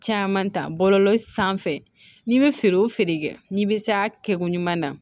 Caman ta bɔlɔlɔ sanfɛ n'i bɛ feere o feere kɛ n'i bɛ s'a kɛ koɲuman na